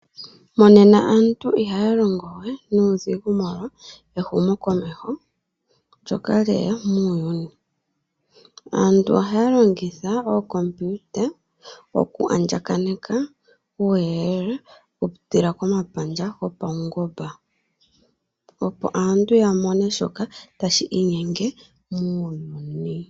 Monena aantu ihaa longowe nuudhingu molwa ehumokomeho ndjoka lyeya muuyuni. Aantu ohaa longitha oocomputer oku andjakaneka uuyelele oku pitila komapandja gopawungomba. Opo aantu ya mone shoka tashi inyenge muyuuni.